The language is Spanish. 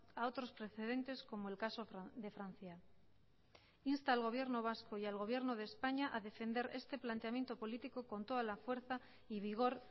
a otros precedentes como el caso de francia insta al gobierno vasco y al gobierno de españa a defender este planteamiento político con toda la fuerza y vigor